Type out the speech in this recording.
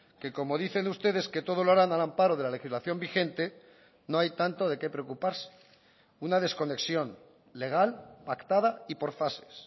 que como dicen ustedes que todo lo harán al amparo de la legislación vigente no hay tanto de qué preocuparse una desconexión legal pactada y por fases